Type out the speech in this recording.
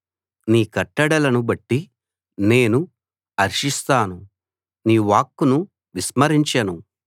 నీ కట్టడలను బట్టి నేను హర్షిస్తాను నీ వాక్కును విస్మరించను